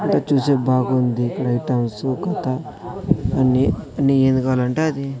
అటు చూసె బాగుంది లైట్ హౌసు కథ అన్ని అన్ని ఏది కావాలంటే అది--